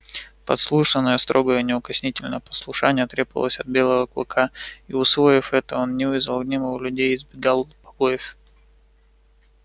послушание строгое неукоснительное послушание требовалось от белого клыка и усвоив это он не вызывал гнева у людей и избегал побоев